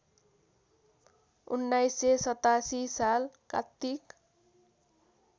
१९८७ साल कात्तिक